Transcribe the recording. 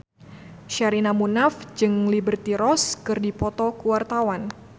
Sherina Munaf jeung Liberty Ross keur dipoto ku wartawan